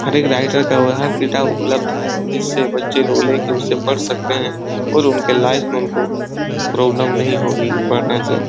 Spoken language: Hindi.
हर एक राइटर का डाटा उपलब्ध जिससे बच्चे लोग ले के उससे पढ़ सकते हैं और उनके लाइफ में उनको प्रॉब्लेम नहीं होगी पढने से।